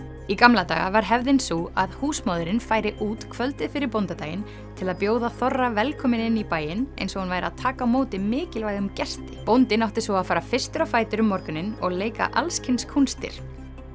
í gamla daga var hefðin sú að húsmóðirin færi út kvöldið fyrir bóndadaginn til að bjóða þorra velkominn inn í bæinn eins og hún væri að taka á móti mikilvægum gesti bóndinn átti svo að fara fyrstur á fætur um morguninn og leika alls kyns kúnstir